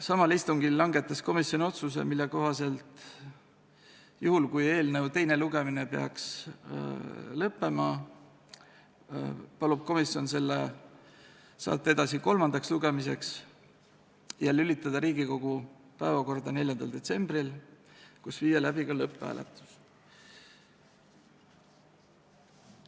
Samal istungil langetas komisjon otsuse, mille kohaselt – juhul kui eelnõu teine lugemine peaks lõppema – palub komisjon selle saata edasi kolmandale lugemisele ja lülitada Riigikogu päevakorda 4. detsembril ning viia läbi ka lõpphääletus.